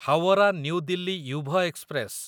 Howrah new Delhi Yuva express